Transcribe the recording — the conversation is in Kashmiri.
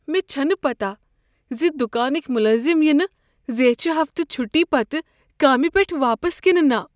مےٚ چھنہٕ پتہ ز دکانٕکۍ ملٲزم ینہ زیچھ ہفتہٕ چھٹی پتہٕ کامہ پیٹھ واپس کنہ نہ۔